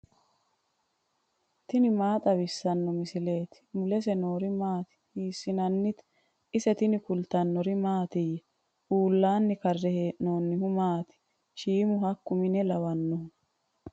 tini maa xawissanno misileeti ? mulese noori maati ? hiissinannite ise ? tini kultannori mattiya? uullanni karre hee'noonnihu maati? shiimu hakku mine lawannohu?